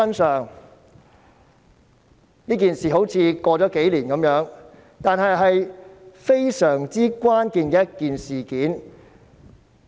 雖然這件事已過了數年，但非常關鍵，影響深遠。